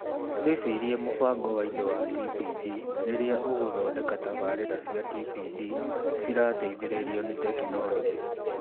Wĩciirie mũbango wa indo wa TPD rĩrĩa ũgũthondeka tabarĩĩra cia TPD cirateithĩrĩrio ni tekinoronjĩ.